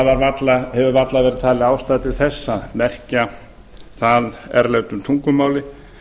að það hefur varla verið talin ástæða til þess að merkja það erlendu tungumáli